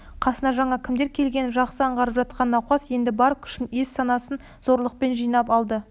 қасына жаңада кімдер келгенін жақсы аңғарып жатқан науқас енді бар күшін ес-санасын зорлықпен жинап алды